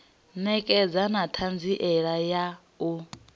ṋekedza na ṱhanziela ya u